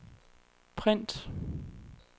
print